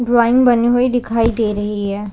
Drawing बनी हुई दिखाई दे रही हैं ।